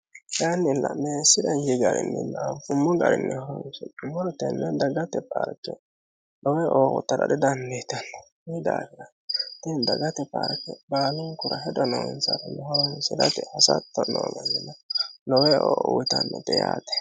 Kaayinila meesira inji garinnila anifumo garinni horonisinummoro tenne daggate paarike lowo eo uyittara didaniditanno Kuyi daafira tini daggate paarike baalunikura hedo noosahura horonisiratte hassatto noo mannira lowo eo uyitannote yaate